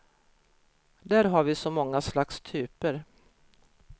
Där har vi så många slags typer.